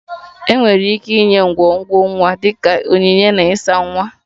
Enwere ike inye ngwongwo nwa dị ka onyinye na ịsa nwa